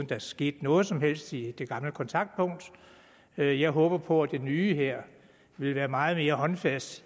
det skete noget som helst i det gamle kontaktpunkt jeg jeg håber på at det nye her vil være meget mere håndfast